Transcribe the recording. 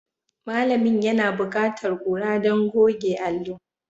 Malamin yana buƙatar kura don goge allo.